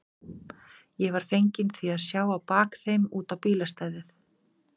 Ég var feginn því að sjá á bak þeim út á bílastæðið.